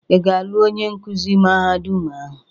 Ị ga-alụ onye nkuzi mahadum ahụ?